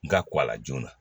N ga ko a la joona